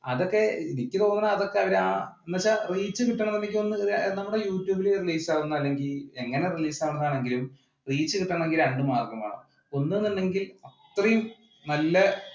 അതൊക്കെ എനിക്ക് തോന്നണത് അതൊക്കെ എന്നുവെച്ചാൽ reach കിട്ടണമെങ്കിൽ എനിക്ക് തോന്നുന്നു നമ്മുടെ യൂ ട്യൂബില്‍ reach ആവുന്നത് അല്ലെങ്കില്‍ എങ്ങനെ release ആവുന്നത് ആണെങ്കിലും reach കിട്ടണമെങ്കിൽ രണ്ടുമാസം വേണം. ഒന്നുന്നുണ്ടെങ്കില്‍ അത്രയും നല്ല